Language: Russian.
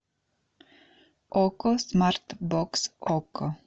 окко смарт бокс окко